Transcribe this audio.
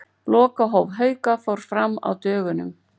Lokahóf Hauka fór fram á dögunum.